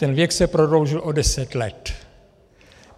Ten věk se prodloužil o deset let.